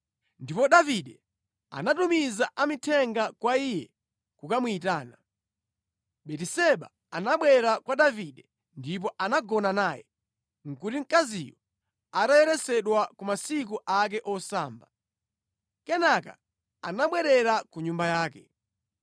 Ndipo Davide anatumiza amithenga kwa iye kukamuyitana. Batiseba anabwera kwa Davide ndipo anagona naye. (Nʼkuti mkaziyu atayeretsedwa ku masiku ake osamba). Kenaka anabwerera ku nyumba yake.